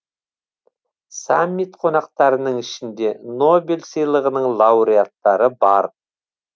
саммит қонақтарының ішінде нобель сыйлығының лауреаттары бар